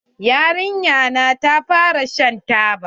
Yarinyar nan ta fara shan taba.